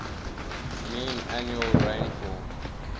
mean annual rainfall